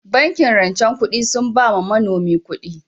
Bankin rancen kudi sun ba manomi kudi